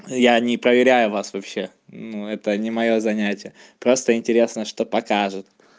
я не проверяю вас вообще ну это не моё занятие просто интересно что покажет